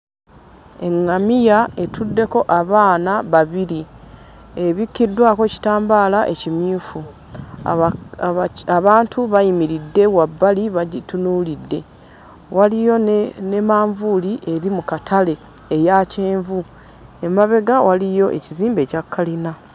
Eŋŋamiya etuddeko abaana babiri, ebikkiddwako kitambaala ekimyufu aba abaki abantu bayimiridde wabbali bagitunuulidde, waliyo ne ne manvuuli eri mu katale eya kyenvu; emabega waliyo ekizimbe ekya kalina.